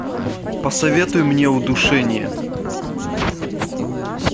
посоветуй мне удушение